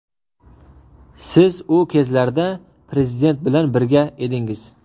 Siz u kezlarda Prezident bilan birga edingiz.